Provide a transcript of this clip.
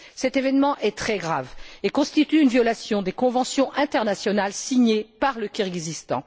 Cet événement est très grave et constitue une violation des conventions internationales signées par le Kirghizstan.